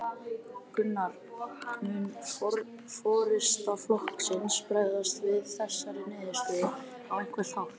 Gunnar: Mun forysta flokksins bregðast við þessari niðurstöðu á einhvern hátt?